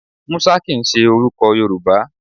Musa kìn í ṣe orúkọ Yorùbá